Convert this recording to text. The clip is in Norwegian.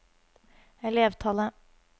elevtallet